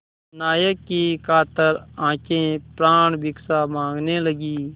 नायक की कातर आँखें प्राणभिक्षा माँगने लगीं